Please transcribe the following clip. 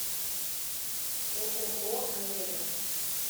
ооо авега